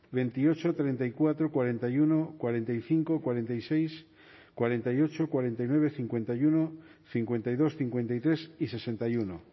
veintiocho treinta y cuatro cuarenta y uno cuarenta y cinco cuarenta y seis cuarenta y ocho cuarenta y nueve cincuenta y uno cincuenta y dos cincuenta y tres y sesenta y uno